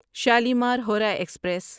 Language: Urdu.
شالیمار ہورہ ایکسپریس